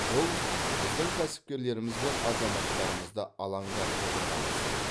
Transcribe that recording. бұл біздің кәсіпкерлеріміз бен азаматтарымызды алаңдатып отырған мәселе